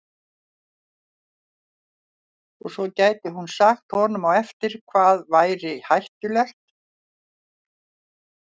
Og svo gæti hún sagt honum á eftir hvað væri hættulegt.